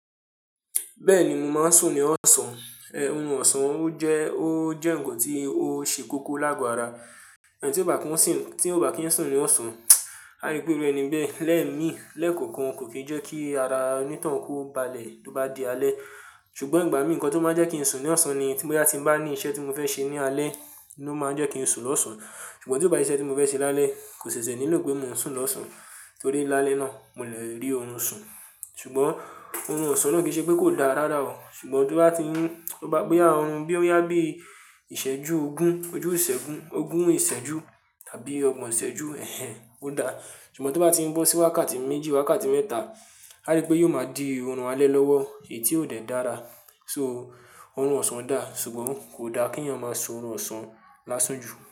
Bẹ́ẹ̀ni, mo máa ń sùn ní ọ̀sán. Orun ọ̀sán ó jẹ́, ó jẹ́ ǹkan tí ó ṣe kókó láàgò ara. Ẹni tí ó bá kí ń sùn ní ọ̀sán, a rí pé oru ẹni bẹ́ẹ lẹ́ẹ̀mí, lẹ́ẹ̀kọ̀kan, kò kì í jẹ́ kí ara oníto hun kó balẹ̀ tó bá di alẹ́. Ṣùgbọ́n ìgbà mí nǹkan tó máa jẹ́ kí n sùn ní ọ̀sán ni tí mo bá ní iṣẹ́ tí mo fẹ́ ṣe ní alẹ́ ni ó máa jẹ́ kí n sùn lọ́sàn-án. Ṣùgbọ́n tí ó bá sí iṣẹ́ tí mo fẹ́ ṣe lálẹ́ kò ṣẹ̀ṣẹ̀ nílò pé mo ń sùn lọ́sàn-án torí lálẹ́ náà mo lè rí orun sùn. Ṣùgbọ́n orun ọ̀sán náà kì í ṣe pé kò da rara o. Ṣùgbọ́n tó bá gbé boya orun bí i Ìsẹ́jú ogún, ojú ìsẹ́gun, ogún ìsẹ́jú tàbí ọgbọ̀n ìsẹ́jú, ẹ̀hen, ó da. Ṣùgbọ́n tó bá ti ń bọ́ sí wákàtí méjì, wákàtí mẹ́ta, a rí pé yóò máa di oorun alẹ́ lọ́wọ́ èyí tí ò dẹ dára. So, orun ọ̀sán da ṣùgbọ́n kò da kí ènìyàn máa sùn orun ọ̀sán lásun jù.